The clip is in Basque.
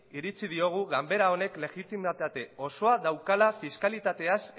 iritzi diogu ganbera honek legimitate osoa daukala fiskalitateaz